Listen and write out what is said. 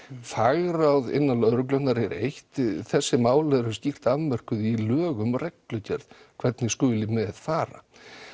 fagráð innan lögreglunnar er eitt þessi mál eru skýrt afmörkuð í lögum og reglugerð hvernig skuli með fara